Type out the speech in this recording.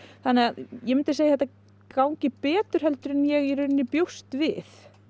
ég myndi segja að þetta gangi betur en ég bjóst við